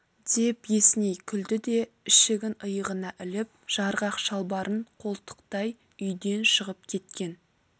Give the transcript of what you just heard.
деп есіней күлді де ішігін иығына іліп жарғақ шалбарын қолтықтай үйден шығып кеткен